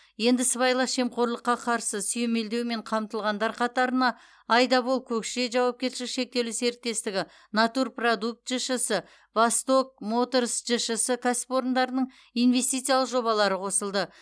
енді сыбайлас жемқорлыққа қарсы сүйемелдеумен қамтылғандар қатарына айдабол көкше жауапкершілігі шектеулі серіктестігі натур продукт жшс восток моторс жшс кәсіпорындарының инвестициялық жобалары қосылды